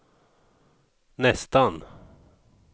nästan